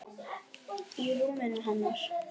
Í rúminu hennar.